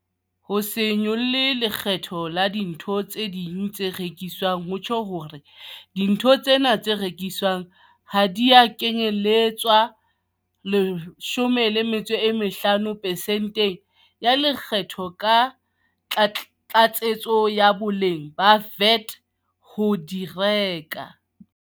Ho se nyolle lekgetho la dintho tse ding tse rekiswang ho tjho hore dintho tsena tse rekiswang ha di a kenyeletswa 15 percent ya Le kgetho la Tlatsetso ya Boleng VAT ha o di reka.